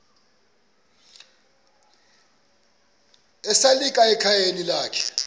esalika ekhayeni lakhe